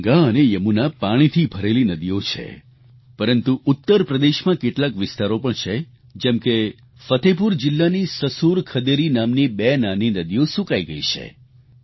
ગંગા અને યમુના પાણીથી ભરેલી નદીઓ છે પરંતુ ઉત્તર પ્રદેશમાં કેટલાક વિસ્તારો પણ છે જેમ કે ફતેહપુર જિલ્લાની સસુર ખદેરી નામની બે નાની નદીઓ સૂકાઈ ગઈ છે